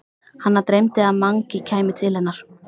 Hana dreymdi að Mangi kæmi til hennar.